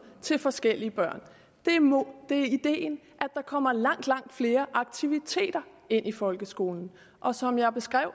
til forskellige børn det er ideen at der kommer langt langt flere aktiviteter ind i folkeskolen og som jeg beskrev